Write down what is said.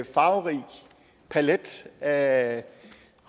farverig palet af